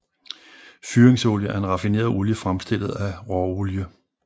Fyringsolie er en raffineret olie fremstillet af råolie